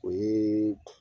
O ye